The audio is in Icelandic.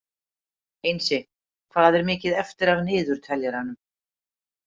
Einsi, hvað er mikið eftir af niðurteljaranum?